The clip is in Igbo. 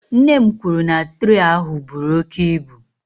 Nne m kwuru na traị ahụ buru oke ibu.